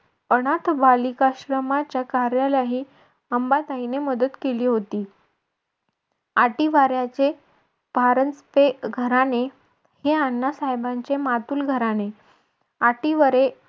अनाथ बालिकाश्रमाच्या कार्यालाही अंबाताईने मदत केली होती. आटीवाऱ्याचे परांजपे घराणे हे अण्णा साहेबांचे मातुल घराणे. आटीवरे